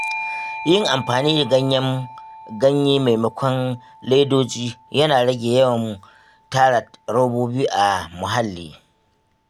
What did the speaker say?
Yin amfani da ganye maimakon ledoji yana rage yawan tara robobi a muhalli.